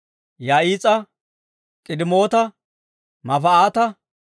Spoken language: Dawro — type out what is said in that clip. Yahaas'a, K'idemoota, Mefa'aata,